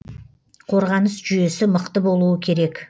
қорғаныс жүйесі мықты болуы керек